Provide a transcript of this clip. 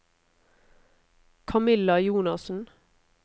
Camilla Jonassen